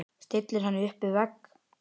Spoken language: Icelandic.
Stillir henni upp við vegg.